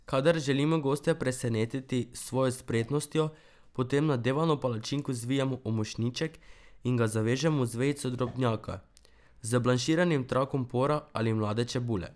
Kadar želimo goste presenetiti s svojo spretnostjo, potem nadevano palačinko zvijemo v mošnjiček in ga zavežemo z vejico drobnjaka, z blanširanim trakom pora ali mlade čebule.